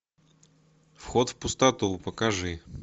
вход в пустоту покажи